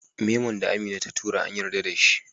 memon da Amina ta tura an yarda dashi